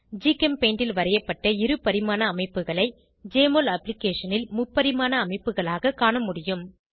ஜிகெம்பெயிண்டில் வரையப்பட்ட இருபரிமாண அமைப்புகளை ஜெஎம்ஒஎல் அப்ளிகேஷனில் முப்பரிமாண அமைப்புகளாக காண முடியும்